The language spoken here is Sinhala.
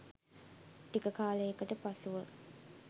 ටික කාලයකට පසුව